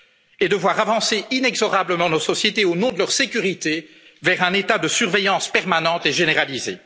Et que nous voyions avancer inexorablement nos sociétés, au nom de leur sécurité, vers un état de surveillance permanente et généralisée.